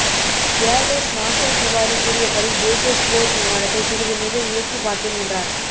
ஏர் vice marshal Tiwari கூறியபடி தேஜஸ் போர் விமானத்தை சிறிது நேரம் இயக்கிப் பார்த்தேன் என்றார்